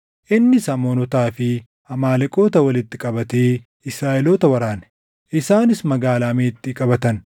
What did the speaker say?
Innis Amoonotaa fi Amaaleqoota walitti qabatee Israaʼeloota waraane; isaanis Magaalaa Meexxii qabatan.